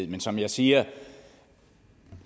men som jeg siger